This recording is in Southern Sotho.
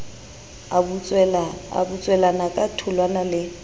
a butswelana ka tholwana le